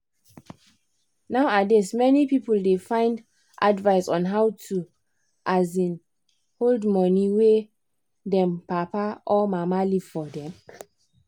nowadays many people da find advice on how to um hold money wey them papa or mama leave forr dem